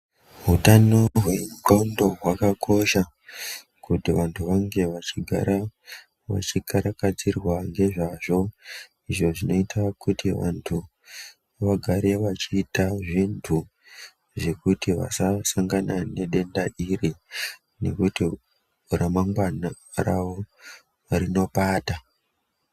Hutano hwexnxlondo hwakakosha kuti vanhu vange vachigara vachikarakadzirwa ngezvazvo izvo zvinoita kuti vanhu vagare vachiita zvinhu zvekuti vasasangane nedenda iri nekuti ramangwana ravo rinopata.